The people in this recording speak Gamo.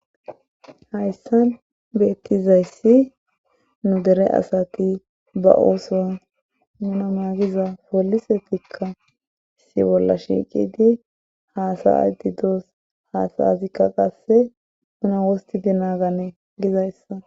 Hayssan beettizayssi nu Dera asati ba ooson poolisetikka issi bolla shiiqidi haasa7idi doos haasa7azikka qasse deriya wosttidi naagana gizayssa